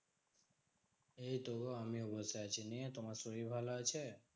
এইতো আমিও বসে আছি। নিয়ে তোমার শরীর ভালো আছে?